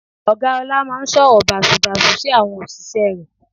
Ọ̀gá ọlá máa ń sọ̀rọ̀ bàsubàsu sí àwọn òṣìṣẹ́ rẹ̀